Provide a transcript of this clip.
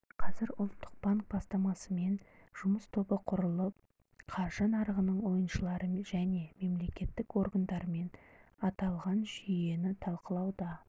қазір ұлттық банк бастамасымен жұмыс тобы құрылып қаржы нарығының ойыншылары және мемлекеттік органдармен аталған жүйені талқылауда